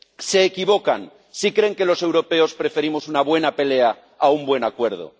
Se equivocan si creen que los europeos preferimos una buena pelea a un buen acuerdo.